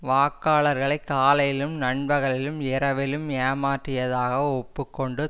வாக்காளர்களை காலையிலும் நண்பகலிலும் இரவிலும் ஏமாற்றியதாக ஒப்பு கொண்டு